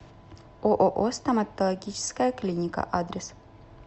ооо стоматологическая клиника адрес